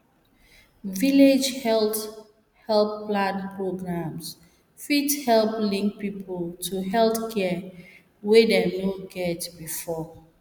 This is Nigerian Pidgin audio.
village health help plan programs fit help link people to health care wey dem no get before